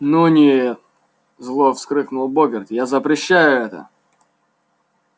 ну нет зло вскрикнул богерт я запрещаю это